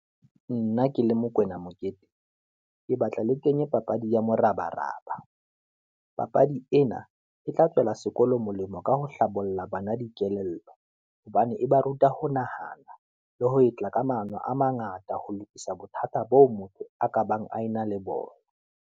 Nna ke le Mokwena Mokete, ke batla le kenye papadi ya morabaraba, papadi ena e tla tswela sekolo molemo ka ho hlabolla bana dikelello. Hobane e ba ruta ho nahana, le ho etla kamano a mangata ho lokisa bothata boo motho a ka bang a ena le bona.